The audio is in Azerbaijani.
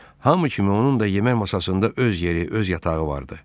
Hamı kimi onun da yemək masasında öz yeri, öz yatağı vardı.